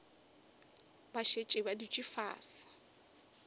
ba šetše ba dutše fase